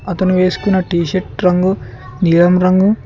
అతని వేసుకున్న టీషర్ట్ రంగు నీలం రంగు.